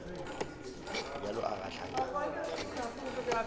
bjalo a gahlanya mahlo le